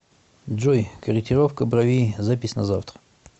джой корректировка бровей запись на завтра